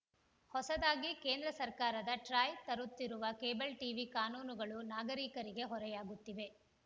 ಹೊಸದಾಗಿ ಕೇಂದ್ರ ಸರ್ಕಾರದ ಟ್ರಾಯ್‌ ತರುತ್ತಿರುವ ಕೇಬಲ್‌ ಟಿವಿ ಕಾನೂನುಗಳು ನಾಗರಿಕರಿಗೆ ಹೊರೆಯಾಗುತ್ತಿವೆ